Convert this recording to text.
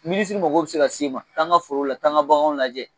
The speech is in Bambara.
Minisiri mago bɛ se ka se i ma taa n ka foro la taa n an ka baganw lajɛ